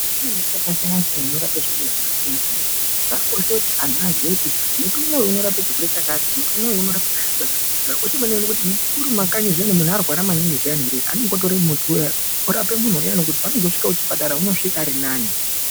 Kune miti yakasiyana siyana inorapa zvirwere akasiyana siyana zvakakosha kuti antu aziye kuti muti uyu unorape chirwere chakati muti uyu unorape chirwere chakati zvakakosha maningi kuti murimumakanyi zviyani muntu arwara maningi zviyani ere anotora muti uyana orape muntu uyana kuti paaanozosvika kuchipatara anosvika arinani.